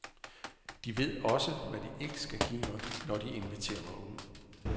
De ved også, hvad de ikke skal give mig, når de inviterer mig ud.